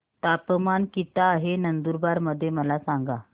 तापमान किता आहे नंदुरबार मध्ये मला सांगा